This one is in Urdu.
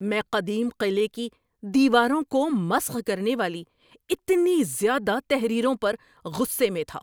میں قدیم قلعے کی دیواروں کو مسخ کرنے والی اتنی زیادہ تحریروں پر غصے میں تھا۔